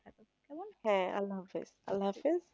হ্যাঁ আল্লাহ হাফেজ আল্লাহ হাফেজ